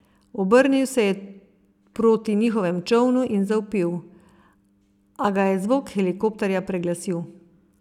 Obrnil se je proti njihovemu čolnu in zavpil, a ga je zvok helikopterja preglasil.